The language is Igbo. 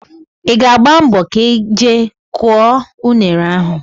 Ị ga-agba mbọ ka ị jee kụọ unere a